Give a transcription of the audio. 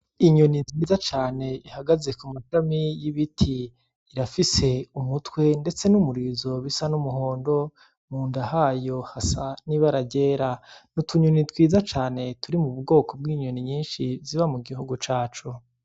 Inyoni nziza cane ihagaze ku mashami y'ibiti. Irafise umutwe ndetse n'umurizo usa n'umuhondo, munda hayo hasa n'ibara ryera. Ni utunyoni twiza cane turi mu bwoko bw'inyoni nyinshi ziba mu gihugu cacu.